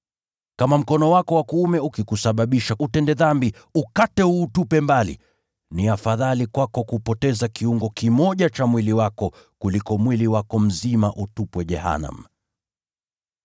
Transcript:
Kama mkono wako wa kuume ukikusababisha kutenda dhambi, ukate, uutupe mbali. Ni afadhali kwako kupoteza kiungo kimoja cha mwili wako kuliko mwili wako mzima utupwe jehanamu.